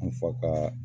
N fa ka